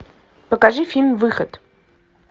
покажи фильм выход